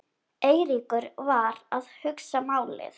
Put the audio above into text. Eiríkur var að hugsa málið.